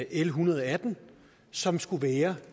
l en hundrede og atten som skulle være